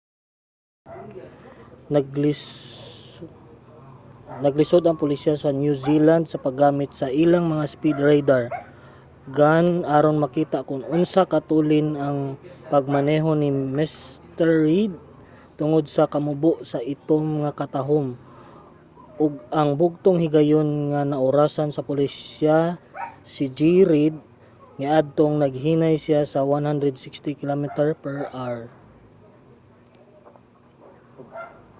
naglisod ang pulisya sa new zealand sa paggamit sa ilang mga speed radar gun aron makita kon unsa katulin ang pagmaneho ni mr reid tungod sa kamubo sa itom nga katahum ug ang bugtong higayon nga naorasan sa pulisya si g. reid katong naghinay siya sa 160km/h